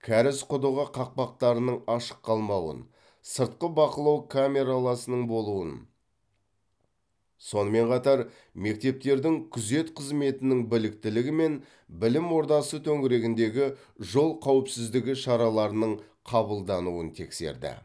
кәріз құдығы қақпақтарының ашық қалмауын сыртқы бақылау камераласының болуын сонымен қатар мектептердің күзет қызметінің біліктілігі мен білім ордасы төңірегіндегі жол қауіпсіздігі шараларының қабылдануын тексерді